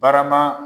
Barama